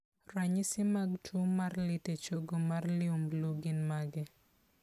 Ranyisi mag tuo mar lit e chogo mar liumblu gin mage?